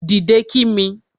Dìde kí mi